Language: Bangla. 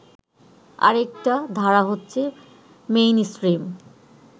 আরেকটা ধারা হচ্ছে মেইনস্ট্রিম